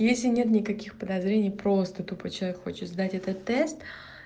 если нет никаких подозрений просто тупо чай хочешь знать это тест